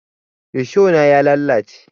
Risho na ya lalace